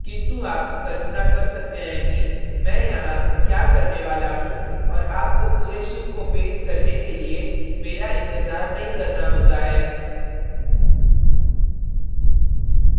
किन्तु आप कल्पना कर सकते हैं कि मैं यहाँ क्या करने वाला हूँ और आपको पूरे ship को पेंट करने के लिए मेरा इंतज़ार नहीं करना होता है